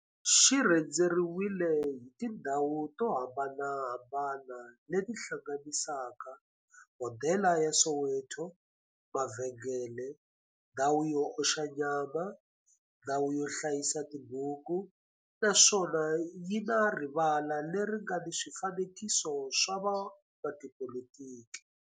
Xi rhendzeriwile hi tindhawu to hambanahambana le ti hlanganisaka, hodela ya Soweto, mavhengele, ndhawu yo oxa nyama, ndhawu yo hlayisa tibuku, naswona yi na rivala le ri nga na swifanekiso swa vo n'watipolitiki.